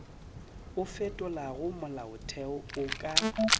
o fetolago molaotheo o ka